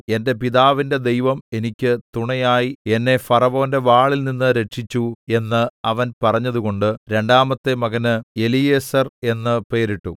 എന്റെ പിതാവിന്റെ ദൈവം എനിക്ക് തുണയായി എന്നെ ഫറവോന്റെ വാളിൽനിന്ന് രക്ഷിച്ചു എന്ന് അവൻ പറഞ്ഞതുകൊണ്ട് രണ്ടാമത്തെ മകന് എലീയേസെർ എന്ന് പേരിട്ടു